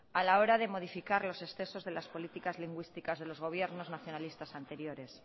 a la hora de modificar los excesos de las políticas lingüísticas de los gobiernos nacionalistas anteriores